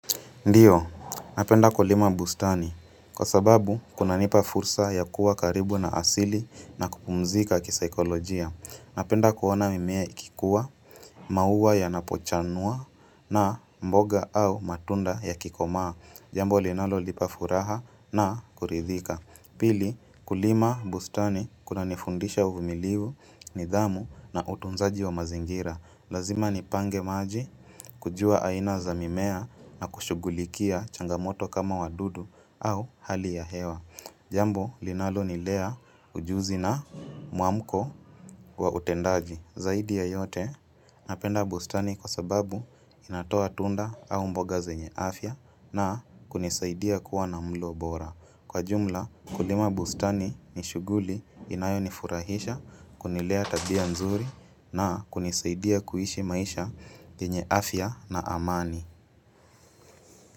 Ndiyo, napenda kulima bustani kwa sababu kunanipa fursa ya kuwa karibu na asili na kupumzika kisaikolojia. Napenda kuona mimea ikikuwa, mauwa yanapochanua na mboga au matunda yakikomaa, jambo linalolipa furaha na kuridhika. Pili, kulima bustani kunanifundisha uvumiliu, nidhamu na utunzaji wa mazingira. Lazima nipange maji kujua aina za mimea na kushugulikia changamoto kama wadudu au hali ya hewa. Jambo, linalonilea ujuzi na muamko wa utendaji. Zaidi ya yote, napenda bustani kwa sababu inatoa tunda au mboga zenye afya na kunisaidia kuwa na mlo bora. Kwa jumla, kulima bustani ni shuguli inayonifurahisha kunilea tabia nzuri na kunisaidia kuishi maisha yenye afya na amani.